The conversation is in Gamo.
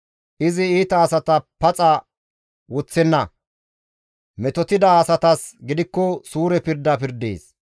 Izi iita asata paxa woththenna. Metotida asatas gidikko suure pirda pirdees.